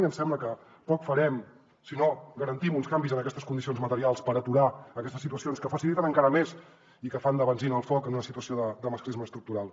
i ens sembla que poc farem si no garantim uns canvis en aquestes condicions materials per aturar aquestes situacions que faciliten encara més i que fan de benzina al foc en una situació de masclisme estructural